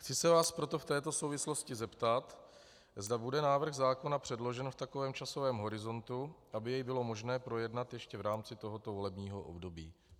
Chci se vás proto v této souvislosti zeptat, zda bude návrh zákona předložen v takovém časovém horizontu, aby jej bylo možné projednat ještě v rámci tohoto volebního období.